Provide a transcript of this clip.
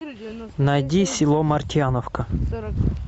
найди село мартьяновка